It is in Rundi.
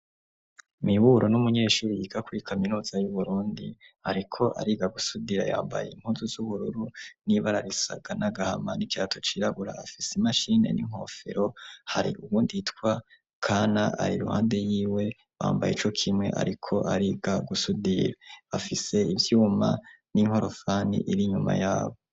Mwiburo n'umunyeshuru yigaku i kaminoza y'uburundi, ariko ari gagusudira yambaye inkuzu z'ubururu n'ibararisaga n'agahama n'icato ciragura afise imashine n'inkofero hari uwunditwa kana ari luhande yiwe wambaye ico kimwe, ariko ariga gusudira afise ivyuma n'inkorofani iri inyuma yabo.